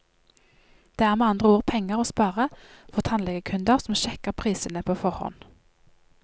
Det er med andre ord penger å spare for tannlegekunder som sjekker prisene på forhånd.